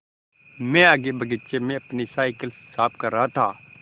मैं आगे बगीचे में अपनी साईकिल साफ़ कर रहा था